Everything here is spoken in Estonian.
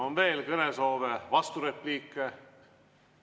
On veel kõnesoove, vasturepliike?